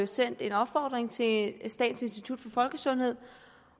sendt en opfordring til statens institut for folkesundhed